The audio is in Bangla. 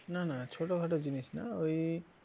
না না ছোটখাটো জিনিস না ওই